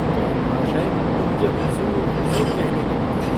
कई महाशय तो मुझे हुज़ूर-हुज़ूर कहने लगे।